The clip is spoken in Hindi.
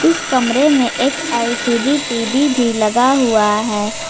इस कमरे में एक एल_सी_डी टी_वी भी लगा हुआ है।